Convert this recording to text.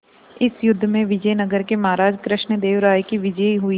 इस युद्ध में विजय नगर के महाराज कृष्णदेव राय की विजय हुई